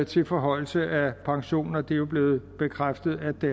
til forhøjelse af pensionen det er det jo blevet bekræftet at det